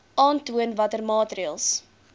aantoon watter maatreëls